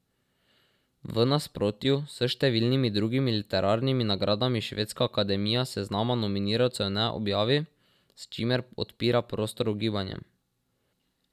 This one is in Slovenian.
V nasprotju s številnimi drugimi literarnimi nagradami Švedska akademija seznama nominirancev ne objavi, s čimer odpira prostor ugibanjem.